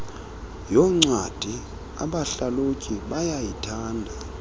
yoncwadi abahlalutyi bayayithanda